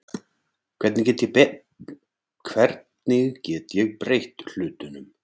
Hvernig get ég breytt hlutunum?